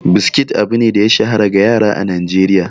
Biskit abu ne da ya shahara ga yara a Najeriya.